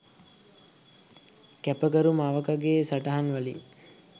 කැපකරු මවකගේ සටහන් වලින්..